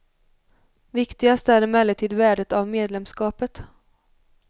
Viktigast är emellertid värdet av medlemskapet.